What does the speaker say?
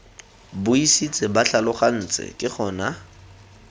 buisitse ba tlhalogantse ke gona